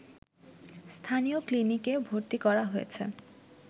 স্থানীয় ক্লিনিকে ভর্তি করা হয়েছে